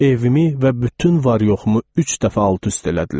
Evimi və bütün var-yoxumu üç dəfə alt-üst elədilər.